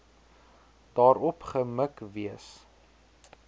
daarop gemik wees